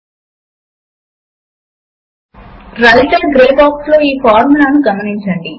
ఇప్పుడు writer window math ను call చేద్దాము